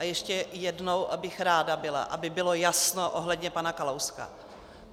A ještě jednou bych byla ráda, aby bylo jasno ohledně pana Kalouska.